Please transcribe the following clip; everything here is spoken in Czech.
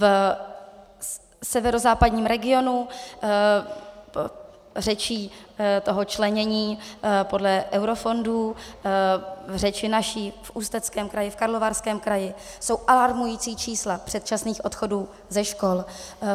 V severozápadním regionu řečí toho členění podle eurofondů, řeči naší v Ústeckém kraji, v Karlovarském kraji, jsou alarmující čísla předčasných odchodů ze škol.